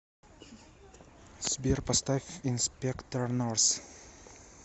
сбер поставь инспектор норс